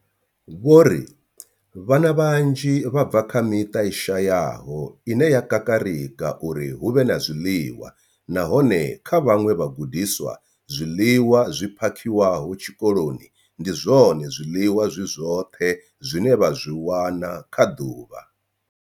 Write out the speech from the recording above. Vho ri vhana vhanzhi vha bva kha miṱa i shayaho ine ya kakarika uri hu vhe na zwiḽiwa, nahone kha vhaṅwe vhagudiswa, zwiḽiwa zwi phakhiwaho tshikoloni ndi zwone zwiḽiwa zwi zwoṱhe zwine vha zwi wana kha ḓuvha.